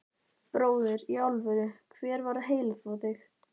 Bróðir, í alvöru, hver var að heilaþvo þig?